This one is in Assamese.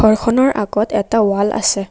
ঘৰখনৰ আগত এটা ৱাল আছে।